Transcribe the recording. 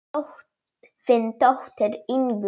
Þín dóttir Ingunn.